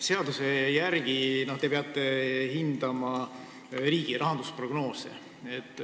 Seaduse järgi peate te hindama riigi rahandusprognoose.